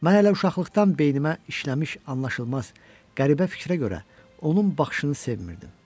Mən hələ uşaqlıqdan beynimə işləmiş anlaşılmaz qəribə fikrə görə onun baxışını sevmirəm.